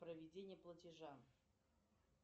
проведение платежа